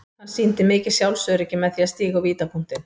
Hann sýndi mikið sjálfsöryggi með því að stíga á vítapunktinn.